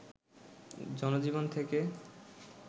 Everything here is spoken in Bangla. জনজীবন থেকে